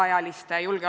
Austatud kolleegid!